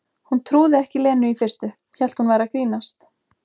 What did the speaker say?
Hún trúði ekki Lenu í fyrstu, hélt hún væri að grínast.